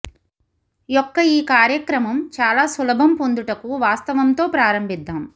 యొక్క ఈ కార్యక్రమం చాలా సులభం పొందుటకు వాస్తవం తో ప్రారంభిద్దాం